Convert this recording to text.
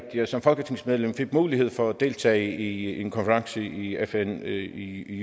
at jeg som folketingsmedlem fik mulighed for at deltage i en konference i fn i i